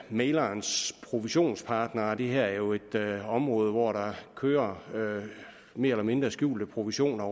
mæglerens provisionspartner det her er jo et område hvor der kører mere eller mindre skjulte provisioner